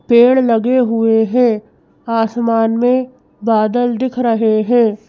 पेड़ लगे हुए हैं आसमान में बादल दिख रहे हैं।